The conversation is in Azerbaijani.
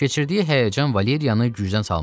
Keçirdiyi həyəcan Valeriyanı gücdən salmışdı.